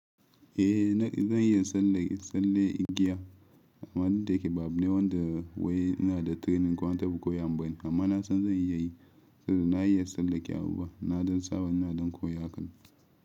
Eh na zan iya tsalle tsalle igiya. Amma dake ba abu wan da wai ina da training ko an taɓa koyo min bane. Amma na san zan iya yi. Na iya tsalla ke abu buwa na ɗan saba ina ɗan koya haka.